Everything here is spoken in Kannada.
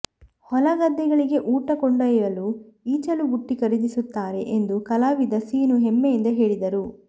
ಹೊಲ ಗದ್ದೆಗಳಿಗೆ ಊಟ ಕೊಂಡೊಯ್ಯಲೂ ಈಚಲು ಬುಟ್ಟಿ ಖರೀದಿಸುತ್ತಾರೆ ಎಂದು ಕಲಾವಿದ ಸೀನು ಹೆಮ್ಮೆಯಿಂದ ಹೇಳಿದರು